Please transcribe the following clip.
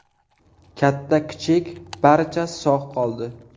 Katta-kichik, barcha sog‘ qoldi.